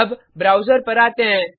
अब ब्राउज़र पर आते हैं